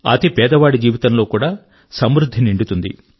అతి బీదవాడి జీవితం లో కూడా సమృద్ధి నిండుతుంది